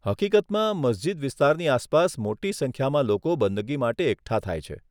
હકીકતમાં, મસ્જિદ વિસ્તારની આસપાસ મોટી સંખ્યામાં લોકો બંદગી માટે એકઠા થાય છે.